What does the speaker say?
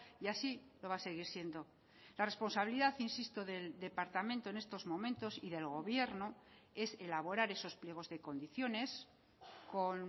y así lo va a seguir siendo la responsabilidad insisto del departamento en estos momentos y del gobierno es elaborar esos pliegos de condiciones con